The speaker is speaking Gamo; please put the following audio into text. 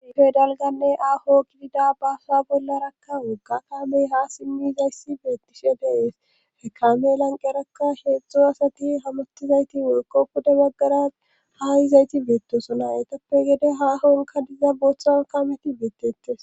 Dihoy dalganne aho gidida baasa bollarakka wogga kamey ha simmizayssi beettishe dees rekame lanqerakka sheedzdzo asati hamotizayti woykko huda baggara hayizayti beettosona etappe gede hahonka diza boothan kameti beettettes.